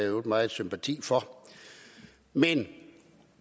øvrigt meget sympati for men